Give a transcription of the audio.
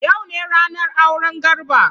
Yau ne ranar auren Garba.